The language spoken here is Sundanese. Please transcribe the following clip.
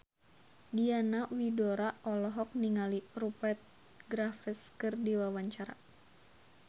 Diana Widoera olohok ningali Rupert Graves keur diwawancara